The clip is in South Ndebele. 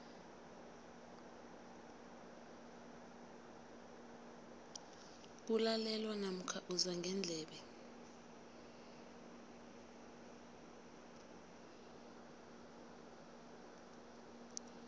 kulalelwa namkha uzwa ngendlebe